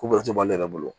Ko bɛrɛ to ale yɛrɛ bolo